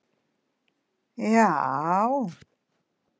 jaajá